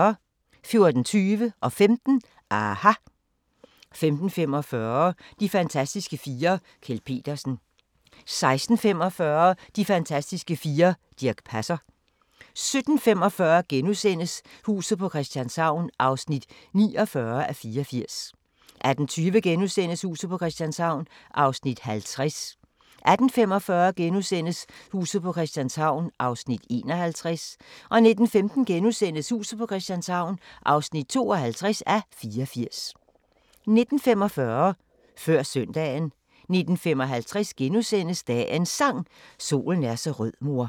14:20: aHA! 15:00: aHA! 15:45: De fantastiske fire: Kjeld Petersen 16:45: De fantastiske fire: Dirch Passer 17:45: Huset på Christianshavn (49:84)* 18:20: Huset på Christianshavn (50:84)* 18:45: Huset på Christianshavn (51:84)* 19:15: Huset på Christianshavn (52:84)* 19:45: Før Søndagen 19:55: Dagens Sang: Solen er så rød mor *